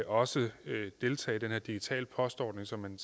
også deltage i den her digitale postordning som man